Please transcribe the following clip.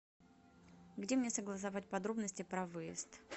где мне согласовать подробности про выезд